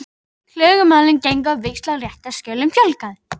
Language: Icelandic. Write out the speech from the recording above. Klögumálin gengu á víxl og réttarskjölum fjölgaði.